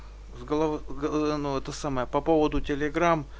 это самое по поводу